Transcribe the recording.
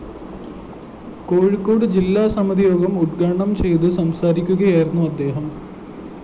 കോഴിക്കോട് ജില്ലാ സമിതിയോഗം ഉദ്ഘാടനം ചെയ്ത് സംസാരിക്കുകയായിരുന്നു അദ്ദേഹം